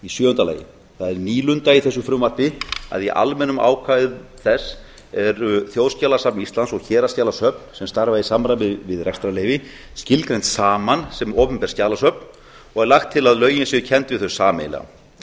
sjöunda það er nýlunda í þessu frumvarpi að í almennum ákvæðum þess eru þjóðskjalasafn íslands og héraðsskjalasöfn sem starfa í samræmi við rekstrarleyfi skilgreind saman sem opinber skjalasöfn og er lagt til að lögin séu kennd við þau sameiginlega